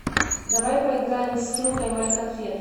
давай поиграем в скилл поймай конфету